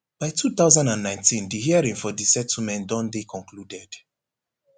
by two thousand and nineteen di hearing for di settlement don dey concluded